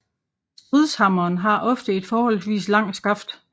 Stridshammeren har ofte et forholdsvis langt skaft